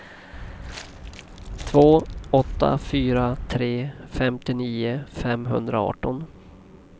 två åtta fyra tre femtionio femhundraarton